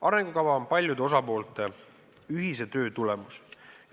Arengukava on paljude osapoolte ühise töö tulemus.